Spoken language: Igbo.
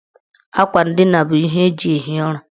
Akwa ndina bụ ihe eji ehi ụra.